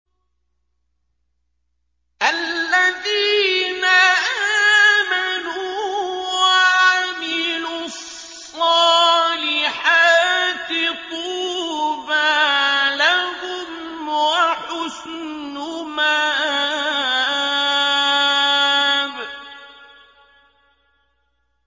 الَّذِينَ آمَنُوا وَعَمِلُوا الصَّالِحَاتِ طُوبَىٰ لَهُمْ وَحُسْنُ مَآبٍ